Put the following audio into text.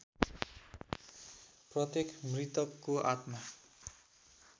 प्रत्येक मृतकको आत्मा